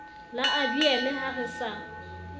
la abiele ha re sa